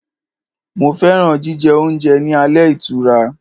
Mo fẹ́ràn jíjẹ oúnjẹ ní ilé ìtura.